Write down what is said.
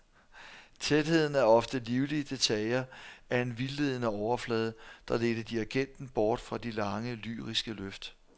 Tætheden af ofte livlige detaljer er en vildledende overflade der ledte dirigenten bort fra de lange lyriske løft.